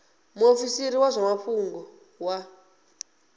muofisiri wa zwa mafhungo wa